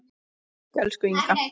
Takk, elsku Inga.